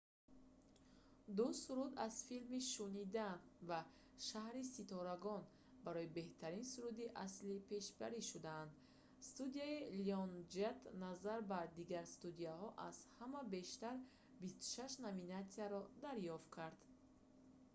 ду суруд аз филми шунидан аблаҳоне ки орзу мекунанд ва шаҳри ситорагон барои беҳтарин суруди аслӣ пешбарӣ шуданд. студияи lyongate назар ба дигар студияҳо аз ҳама бештар 26 номинатсияро дарёфт кард